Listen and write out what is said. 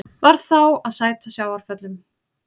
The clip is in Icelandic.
Varð þá að sæta sjávarföllum.